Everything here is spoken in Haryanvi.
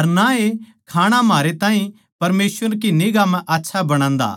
अर ना ए खाणा म्हारे ताहीं परमेसवर की निगांह म्ह आच्छा बणादा